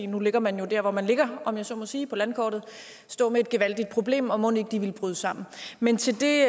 nu ligger man jo der hvor man ligger om jeg så må sige på landkortet stå med et gevaldigt problem og mon ikke de ville bryde sammen men til det